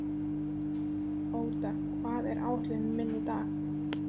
Óda, hvað er á áætluninni minni í dag?